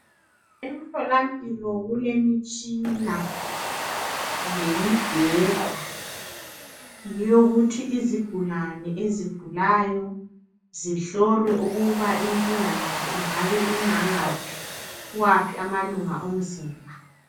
Emtholampilo kulemitshina, lemibheda. Yokuthi izigulane, ezigulayo zihlolwe ukuthi inking yazo ingabe ingangaphi? Kuwaphi amalunga omzimba?